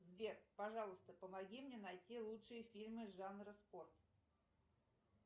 сбер пожалуйста помоги мне найти лучшие фильмы жанра спорт